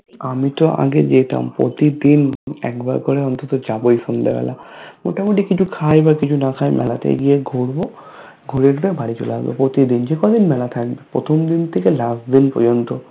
আমি তো আগে যেতাম প্রতিদিন একবার কোরে অন্তত যাবোই সন্ধ্যে বেলা মোতা মতি কিছু খাই বা কিছু না খাই মেলাতে গিয়ে ঘুরবো ঘুরে তুরে বাড়ি চলে আসবো প্রতিদিন যেই কয়দিন মেলা থাকবে প্রথম দিন থেকে last দিন পর্যন্ত